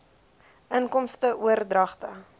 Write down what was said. inkomste oordragte